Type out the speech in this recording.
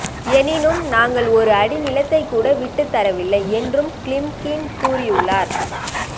எனினும் நாங்கள் ஒரு அடி நிலத்தை கூட வீட்டு தரவில்லை என்றும் கிலிம்கின் கூறியுள்ளார்